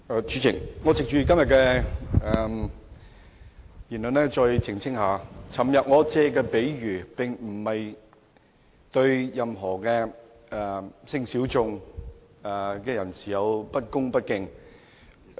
主席，我藉着今天的辯論再澄清一下，我昨天提出的比喻並非對任何性小眾人士有不恭不敬。